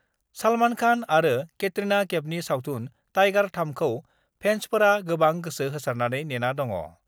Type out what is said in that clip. सलमान कान आरो केट्रिना केपनि सावथुन टाइगार-3 खौ फेन्सफोरा गोबां गोसो होसारनानै नेना दङ।